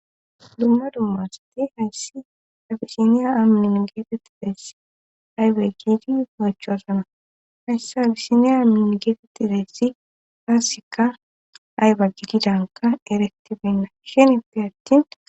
Dumma dummassati hayssi abisiniya amnin geetetti deess aybe giidi oyechoosana hayssi abisiniya amnin geetetti deessi paassikka aybe gididanka eretibenna shenipi attin.